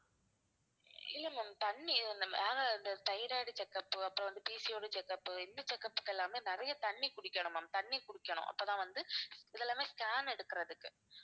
இல்ல ma'am தண்ணி நம்ம அஹ் இந்த thyroid check up அப்புறம் வந்து PCOD check up இந்த check up க்கு எல்லாமே நிறைய தண்ணி குடிக்கணும் ma'am தண்ணி குடிக்கணும் அப்பதான் வந்து இது எல்லாமே scan எடுக்குறதுக்கு